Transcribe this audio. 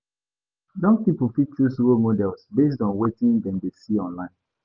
Young pipo fit choose role models based on wetin dem dey see online.